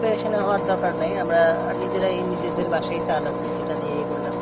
পেরেশানি হওয়ার দরকার নাই আমরা নিজেরাই নিজেদের বাসায় চাল আছে এইটা দিয়ে করলাম